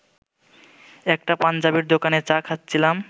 একটা পাঞ্জাবির দোকানে চা খাচ্ছিলাম